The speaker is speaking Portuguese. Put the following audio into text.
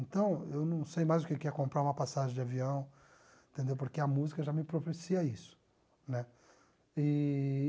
Então, eu não sei mais o que que é comprar uma passagem de avião, porque a música já me propicia isso né eee